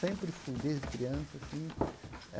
Sempre fui desde criança. Assim eh